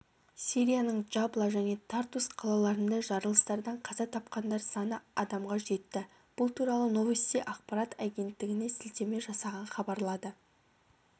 сирияның джабла және тартус қалаларында жарылыстардан қаза тапқандар саны адамға жетті бұл туралы новости ақпарат агенттігіне сілтеме жасаған хабарлады